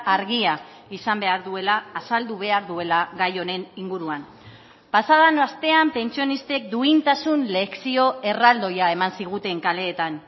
argia izan behar duela azaldu behar duela gai honen inguruan pasa den astean pentsionistek duintasun lezio erraldoia eman ziguten kaleetan